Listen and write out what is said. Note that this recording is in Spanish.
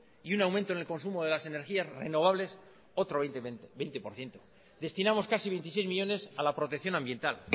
y un aumento en el consumo de las energías renovables otro veinte por ciento destinamos casi veintiséis millónes a la protección ambiental